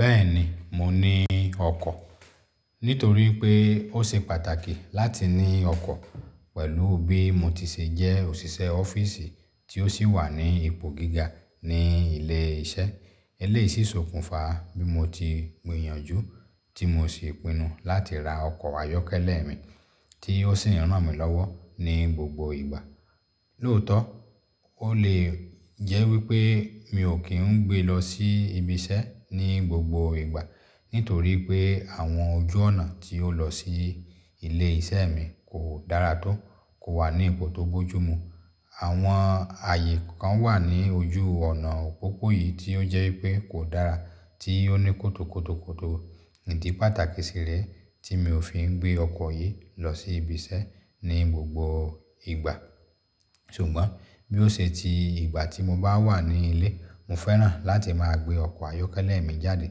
Bẹ́ẹ̀ni, mo ni ọkọ̀. Nítorí pé ó ṣe pàtàkì láti ní ọkọ̀ pẹ̀lú bí mo ti ṣe jẹ́ òṣìṣẹ́ ọ́fíìsì tí ó sì wà ní ipò gíga ní ilé iṣẹ́. Eléyìí ṣòkùnfà bí mo ti gbìyànjú tí mo sì pinnu láti ra ọkọ̀ ayọ́kẹ́lẹ́ mi tí ó sì ràn mí lọ́wọ́ ní gbogbo ìgbà. Lóòótọ́, ó lè jẹ́ wípé mi ò kí ń gbé lọ sí ibi iṣẹ́ ní gbogbo ìgbà nítorí pé àwọn ojú ọ̀nà tí ó lọ sí ilé iṣẹ́ mi kò dára tó, kò wà ní ipò tó bójú mu. Àwọn ààyè kan wà ní ojú ọ̀nà òpópó yìí tí ó jẹ́ wípé kò dára tí ó ní kótòkòtòkoto. Ìdí pàtàkì si rẹ̀ tí mi ò fi ń gbé ọkọ̀ yìí lọ sí ibi iṣẹ́ ní gbogbo ìgbà. Ṣùgbọ́n bí ó ṣe ti ìgbà tí mo bá wà ní ilé, mo fẹ́ràn láti máa gbé ọkọ̀ ayọ́kẹ́lẹ́ mi jáde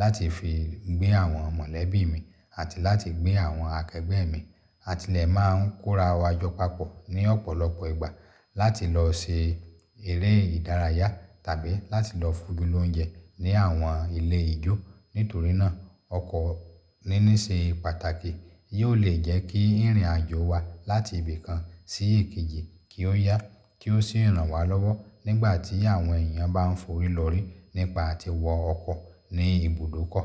láti fi gbé àwọn mọ̀lẹ́bí mi àti láti gbé àwọn akẹgbẹ́ mi, àtilẹ̀ máa ń kóra wa jọ papọ̀ ní ọ̀pọ̀lọpọ̀ ìgbà láti lọ ṣe eré ìdárayá tàbí láti lọ fun gílòúnjẹ ní àwọn ilé ijó. Nítorí náà, ọkọ̀ níní ṣe pàtàkì. Yóò lè jẹ́ kí ìrìnàjò wa láti ibì kan sí èkejì kí ó yá, kí ó sì ràn wá lọ́wọ́ nígbà tí àwọn èèyàn bá ń forí lori nípa àti wọ ọkọ̀ ní ibùdókọ̀.